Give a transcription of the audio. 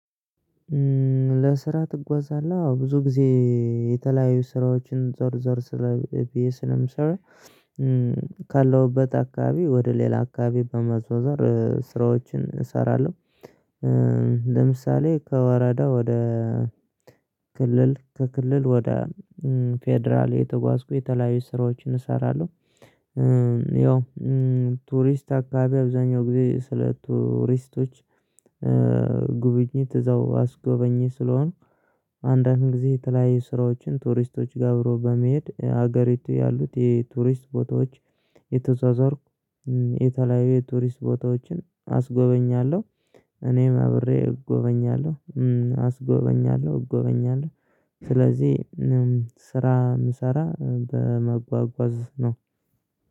ለስራ ትጓዛለህ አዎ ብዙ ጊዜ የተለያዩ ስራዎችን ዞር ዞር ስለ በየ ስለምሰራ ካለሁበት አካባቢ ወደ ሌላ አካባቢ በመዟዟር ስራዎችን እሰራለሁ። ለምሳሌ ከወረዳ ወደ ክልል ከክልል ወደ ፌደራል የተጓዝኩ የተለያዩ ስራዎችን እሰራለሁ። ያው ቱሪስት አካባቢ አብዛኛው ጊዜ ስለ ቱሪስቶች። ጉብኝት እዛው አስጎበኝ ስለሆኑ አንዳንድ ጊዜ የተለያዩ ስራዎችን ቱሪስቶች ጋብሮ በመሄድ ሀገሪቱ ያሉት የቱሪስት ቦታዎች እተዟዟርኩ የተለያዩ የቱሪስት ቦታዎችን አስጎበኛለሁ። እኔም አብሬ እጎበኛለሁ አስጎበኛለሁ እጎበኛለሁ። ስለዚህ ስራ ምሰራ በመጓጓዝ ነው።